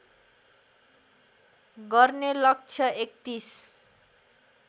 गर्ने लक्ष्य ३१